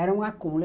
Era um acúmulo.